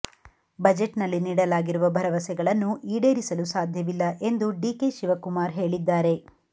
budget ನಲ್ಲಿ ನೀಡಲಾಗಿರುವ ಭರವಸೆಗಳನ್ನು ಈಡೇರಿಸಲು ಸಾಧ್ಯವಿಲ್ಲ ಎಂದು ಡಿಕೆ ಶಿವಕುಮಾರ್ ಹೇಳಿದ್ದಾರೆ